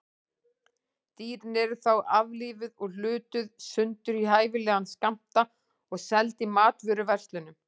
Dýrin eru þá aflífuð og hlutuð sundur í hæfilega skammta og seld í matvöruverslunum.